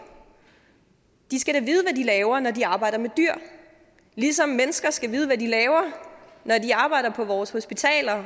de skal da vide hvad de laver når de arbejder med dyr ligesom mennesker skal vide hvad de laver når de arbejder på vores hospitaler og